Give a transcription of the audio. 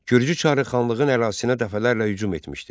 Gürcü çarı xanlığın ərazisinə dəfələrlə hücum etmişdi.